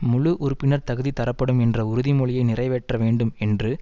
முழு உறுப்பினர் தகுதி தரப்படும் என்ற உறுதிமொழியை நிறைவேற்ற வேண்டும் என்று